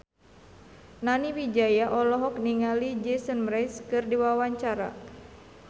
Nani Wijaya olohok ningali Jason Mraz keur diwawancara